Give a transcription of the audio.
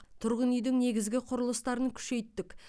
тұрғын үйдің негізгі құрылыстарын күшейттік